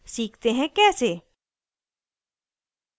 सीखते हैं कैसे